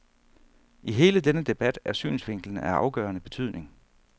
I hele denne debat er synsvinklen af afgørende betydning.